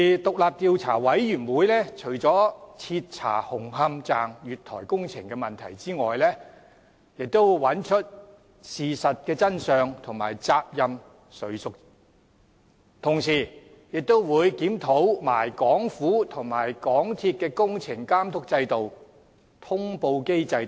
獨立調查委員會除了徹查紅磡站月台工程的問題外，亦找出事實真相及責任誰屬，同時也會檢討港府和港鐵公司的工程監督制度及通報機制等。